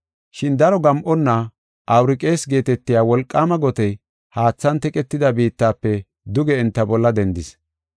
Shin daro gam7onna “Awuraqis” geetetiya wolqaama gotey haathan teqetida biittafe duge enta bolla dendis.